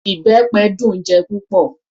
Ìbẹpẹ dùn-ún jẹ púpọ̀.